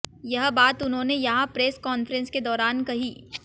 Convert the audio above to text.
यह बात उन्होंने यहां प्रेस कान्फ्रेंस के दौरान कही